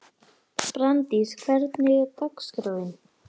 Brandís, hvernig er dagskráin?